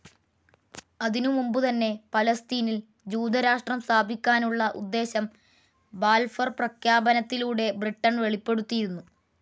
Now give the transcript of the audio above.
അതിനു മുമ്പുതന്നെ പലസ്തീനിൽ ജൂതരാഷട്രം സ്ഥാപിക്കാനുള്ള ഉദ്ദേശം ബാൽഫർ പ്രഖ്യാപനത്തിലൂടെ ബ്രിട്ടൺ വെളിപ്പെടുത്തിയിരുന്നു.